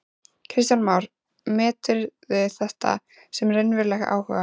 Kristján Már: Meturðu þetta sem raunverulegan áhuga?